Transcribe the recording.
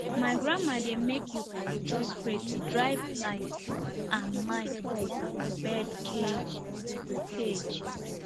my grandma dey make eucalyptus spray to drive lice and mite comot from bird cage cage